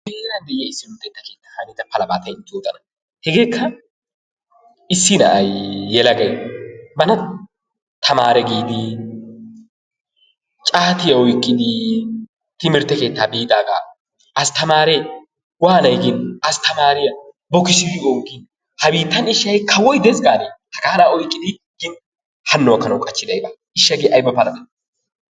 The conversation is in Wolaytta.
Nu heeraan luxeta keettaan hanida palaba issi na'ay yelagay bana tamaare giidi caatiyaa oyqqidi timirtte keettaa biidaagaa astamaare waanay gin astaamariyaa bokkissidi oogin ha biittaan ishshi ha'i kawoy dees gaanee? Hano gaakkidi oyqqidi qachchiday baawa hegee ayba palabee.